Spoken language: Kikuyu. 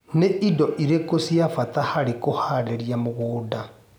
Nĩ indo irĩkũ cia bata harĩ kũharĩria mũgũnda.